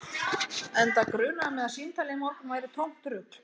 Enda grunaði mig að símtalið í morgun væri tómt rugl